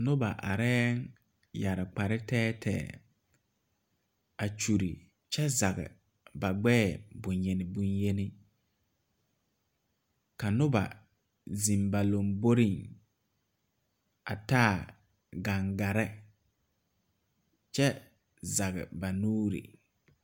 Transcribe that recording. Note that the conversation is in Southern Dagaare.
Noba areɛɛŋ yɛre kpare tɛɛtɛɛ a kyure kyɛ zege ba gbɛɛ bonyeni bonyeni ka noba zeŋ ba lomboreŋ a taa gaŋgarre kyɛ zege ba nuure.